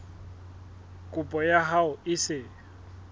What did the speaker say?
kopo ya hao e se